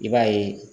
I b'a ye